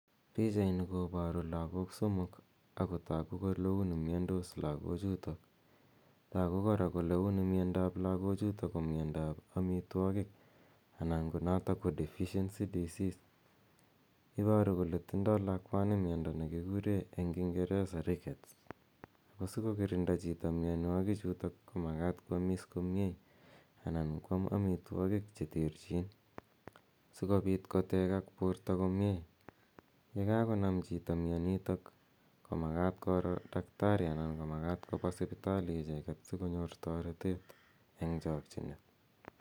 Pichaini koparu lagok somok ako tagu ko uni miandos lagochutok. Tagu kora kole uni miondoap lagochutok ko miondo ap amitwogik anan ko notok ko deficiency disease. Iparu kole tindai lakwani miondo ne kikure eng' kingeresa rickets. Ako si kokirinda chito mianwagichutok ko makat ko amis komye anan ko am amitwogik che terchin si kopit kotegak porto komye. Ye kakonam chito mianitok ko makaat koro daktari anan ko makat kopa sipitali icheget, siko nyor taretet eng' chakchinet.